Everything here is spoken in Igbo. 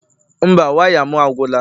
Mba, waya m agwụla